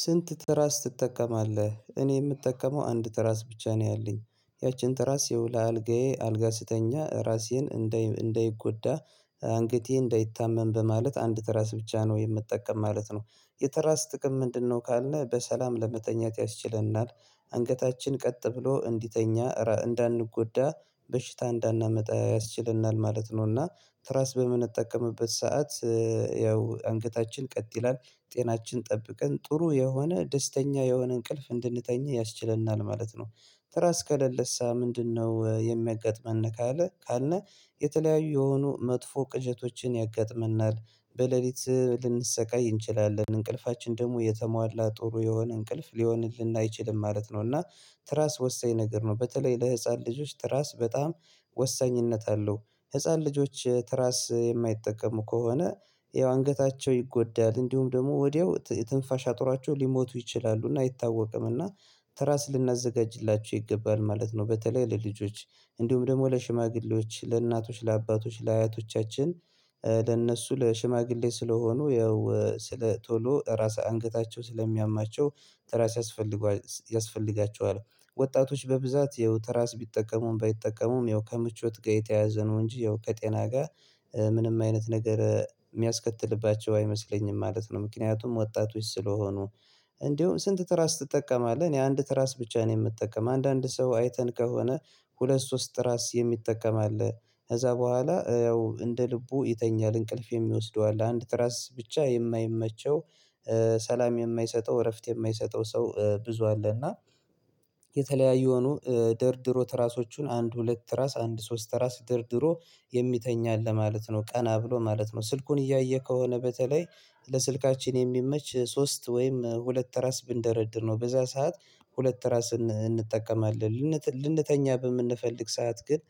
ስንት ትራስ ትጠቀማለህ? እኔ የምጠቀመው አንድ ትራስ ብቻ ነው ያለኝ ያችን ትራስ ይኸው ለአልጋዬ አልጋ ስተኛ ራሴን እንዳይጎዳ አንገቴ እንዳይታመን በማለት አንድ ትራስ ብቻ ነው የምትጠቀም ማለት ነው። የትራስ ጥቅም ምንድነው ካልን በሰላም ለመተኛት ያስችለናል። አንገታችን ቀጥ ብሎ እንዲተኛ እንዳንጎዳ በሽታ እንዳናመጣ ያስችለናል ማለት ነውና። ትራስ በምንጠቀምበት ሰዓት ያው አንገታችን ቀጥ ይላል ጤናችን ጠብቀን ጥሩ የሆነ ደስተኛ የሆነ እንቅልፍ እንድንተኛ ያስችለናል ማለት ነው። ትራስ ከለለሳ ምንድነው? የሚያጋጥመን ካለ ካልን የተለያዩ የሆኑ መጥፎ ቅዠቶችን ያጋጥመናል። በሌሊት ልንሰቃይ እንችላለን እንቅልፋችን ደግሞ የተሟላ ጥሩ የሆነ እንቅልፍ ሊሆንልን አይችልም ማለት ነው። እና ትራስ ወሳኝ ነገር ነው። በተለይ ለህፃን ልጆች ትራስ በጣም ወሳኝነት አለው። ህፃን ልጆች ትራስ የማይጠቀሙ ከሆነ ያው አንገታቸው ይጎዳል እንዲሁም ደግሞ ወዲያው የትንፋሻ አጥሯቸው ሊሞቱ ይችላሉና አይታወቅምና። ትራስ ልናዘጋጅላቸው ይገባል ማለት ነው። በተለይ ለልጆች እንዲሁም ደግሞ ለሽማግሌዎች ለእናቶች ለአባቶች ለአያቶቻችን ለእነሱ ለሽማግሌ ስለሆኑ ያው ስለ ቶሎ ራስ አንገታቸው ስለሚያማቸው ትራስ ያስፈልገዋል ያስፈልጋቸዋል። ወጣቶች በብዛት ያው ትራስ ቢጠቀሙም ባይጠቀሙም ያው ከምቾት ጋር የተያዘ ነው እንጂ ያው ከጤና ጋር ምንም አይነት ነገር የሚያስከትልባቸው አይመስለኝም ማለት ነው። ምክንያቱም ወጣቶች ስለሆኑ እንዲሁም ስንት ትራስ ትጠቀማለህ? እኔ አንድ ትራስ ብቻ ነው የምጠቀም አንዳንድ ሰው አይተን ከሆነ ሁለት ሶስት ራስ የሚጠቀም አለ። ከዛ በኋላ ያው እንደ ልቡ ይተኛል እንቅልፍ የሚወስደው አለ አንድ ራስ ብቻ የማይመቸው ሰላም የማይሰጠው እረፍት የማይሰጠው ሰው ብዙ አለና። የተለያዩ የሆኑ ደርድሮ ትራሶቹን አንድ ሁለት ትራስ አንድ ሶስት ትራስ ደርድሮ የሚተኛ አለ ማለት ነው። ቀና ብሎ ማለት ነው። ስልኩን እያየ ከሆነ በተለይ ለስልካችን የሚመች ሶስት ወይም ሁለት ትራስ ብንደረድር ነው። በዛ ሰዓት ሁለት ራስ እንጠቀማለን ልንተኛ በምንፈልግ ሰዓት ግን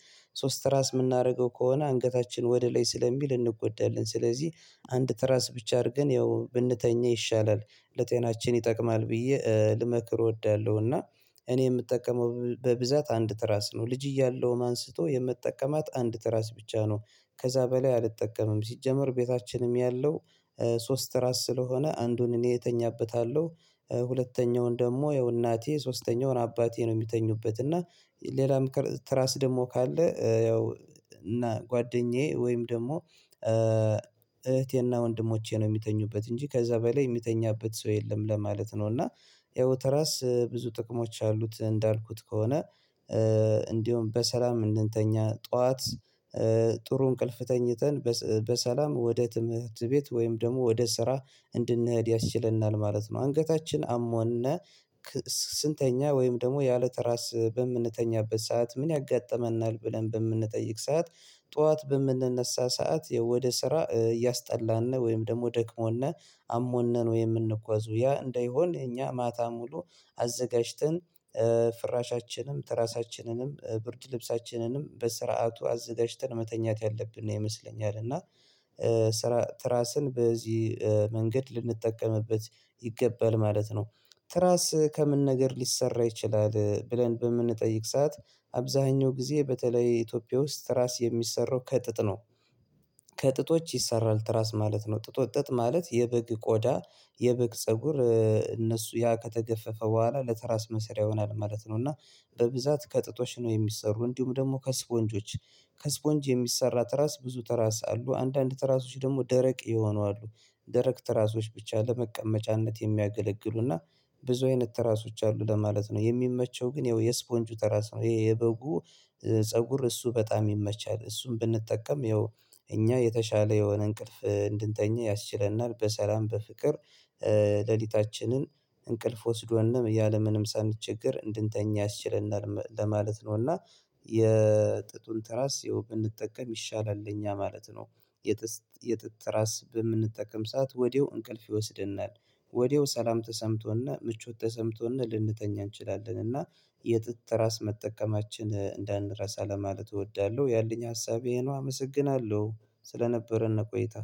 ሶስት ትራስ የምናደርገው ከሆነ አንገታችን ወደ ላይ ስለሚል እንጎዳለን ስለዚህ አንድ ትራስ ብቻ አድርገን ያው ብንተኛ ይሻላል። ለጤናችን ይጠቅማል ብዬ ልመክር እወዳለሁ እና እኔ የምጠቀመው በብዛት አንድ ትራስ ነው ልጅ እያለውም አንስቶ የምጠቀማት አንድ ትራስ ብቻ ነው። ከዛ በላይ አልጠቀምም ሲጀመር ቤታችንም ያለው ሶስት ትራስ ስለሆነ አንዱን እኔ እተኛበታለሁ ሁለተኛውን ደግሞ ያው እናቴ ሶስተኛውን አባቴ ነው። የሚተኙበት እና ሌላም ትራስ ደግሞ ካለ ያው እና ጓደኛዬ ወይም ደግሞ እህቴና ወንድሞቼ ነው የሚተኙበት እንጂ ከዛ በላይ የሚተኛበት ሰው የለም ለማለት ነው። እና ያው ትራስ ብዙ ጥቅሞች አሉት እንዳልኩት ከሆነ እንዲሁም በሰላም እንድንተኛ ጠዋት ጥሩ እንቅልፍ ተኝተን በሰላም ወደ ትምህርት ቤት ወይም ደግሞ ወደ ስራ እንድንሄድ ያስችለናል ማለት ነው። አንገታችን አሞን ስንተኛ ወይም ደግሞ ያለተራስ በምንተኛበት ሰዓት ምን ያጋጥመናል ብለን በምንጠይቅ ሰዓት ጠዋት በምንነሳ ሰዓት ወደ ስራ እያስጠላን ነው ወይም ደግሞ ደክሞና አሞን ነን። የምንጉዋዘው ያ እንደይሆን እኛ ማታ ሙሉ አዘጋጅተን ፍራሻችንም ትራሳችንንም ብርድ ልብሳችንንም በስርዓቱ አዘጋጅተን መተኛት ያለብን ነው ይመስለኛል። እና ትራስን በዚህ መንገድ ልንጠቀምበት ይገባል ማለት ነው። ትራስ ከምን ነገር ሊሰራ ይችላል? ብለን በምንጠይቅ ሰዓት አብዛኛው ጊዜ በተለይ ኢትዮጵያ ውስጥ ትራስ የሚሰራው ከጥጥ ነው። ከጥጦች ይሰራል ትራስ ማለት ነው። ጥጦች ጥጥ ማለት የበግ ቆዳ የበግ ፀጉር እነሱ ያ ከተገፈፈ በኋላ ለተራስ መሰሪያ ይሆናል ማለት ነው። እና በብዛት ከጥጦች ነው የሚሰሩ እንዲሁም ደግሞ ከስፖንጆች ከስፖንጅ የሚሰራ ትራስ ብዙ ትራስ አሉ። አንዳንድ ትራሶች ደግሞ ደረቅ የሆኑ አሉ ደረቅ ትራሶች ብቻ ለመቀመጫነት የሚያገለግሉና ብዙ አይነት ትራሶች አሉ ለማለት ነው። የሚመቸው ግን ያው የስፖንጁ ተራስ ነው ይሄ የበጉ ፀጉር እሱ በጣም ይመቻል እሱን ብንጠቀም ያው እኛ የተሻለ የሆነ እንቅልፍ እንድንተኛ ያስችለናል። በሰላም በፍቅር ሌሊታችንን እንቅልፍ ወስዶን ያለምንም ሳንቸገር እንድንተኛ ያስችለናል ለማለት ነው። እና የጥጡን ትራስ ያው ብንጠቀም ይሻላል ለኛ ማለት ነው። የጥጥ ራስ በምንጠቀም ሰዓት ወዲያው እንቅልፍ ይወስደናል ወዲያው ሰላም ተሰምቶን ምቾት ተሰምቶን ልንተኛ እንችላለን። እና የጥጥ ትራስ መጠቀማችን እንዳንረሳ ለማለት እወዳለሁ። ያለኝ ሀሳቤ ይህ ነው አመሰግናለሁ። ስለነበረን ቆይታ